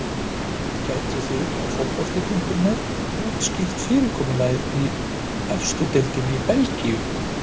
Gætuð þið á fótbolti.net útskýrt fyrirkomulag í efstu deildinni í Belgíu?